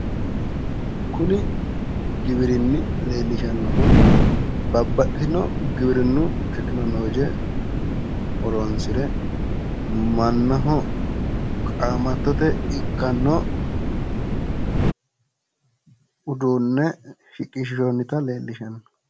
kuni giwirinni leellishshannohu babaxitino giwirinnu tekinologe horonsire mannaho qaamattote ikkanno uduunne shiqinshoonita leellishshanno.